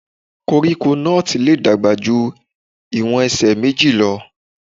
Koríko nọ́ọ̀tì lè dàgbà ju ìwọ̀n ẹsẹ̀ méjì lọ.